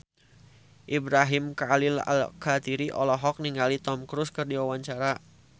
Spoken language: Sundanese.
Ibrahim Khalil Alkatiri olohok ningali Tom Cruise keur diwawancara